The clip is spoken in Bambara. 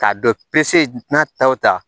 K'a dɔ n'a taw ta